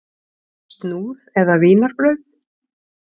Snúð eða vínarbrauð?